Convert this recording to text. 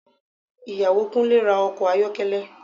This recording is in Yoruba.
Ìyàwó Kúnlé ra ọkọ̀ ayọ́kẹ́lẹ́